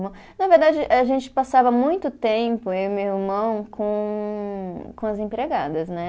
Na verdade, a gente passava muito tempo, eu e meu irmão, com com as empregadas, né?